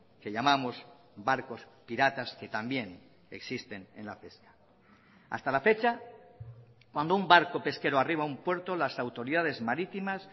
que llamamos barcos piratas que también existen en la pesca hasta la fecha cuando un barco pesquero arriba un puerto las autoridades marítimas